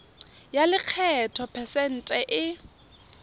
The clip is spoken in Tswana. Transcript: ya lekgetho phesente e